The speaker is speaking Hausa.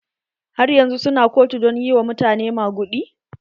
Har yanzun su na kotu don yi wa mutane maguɗi?